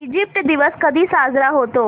Egypt दिवस कधी साजरा होतो